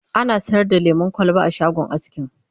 ana sayar da lemun kwalba a shagon askin